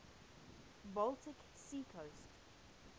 baltic sea coast